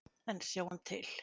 En sjáum til.